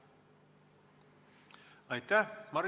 Aitäh!